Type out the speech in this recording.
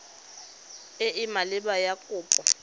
e e maleba ya kopo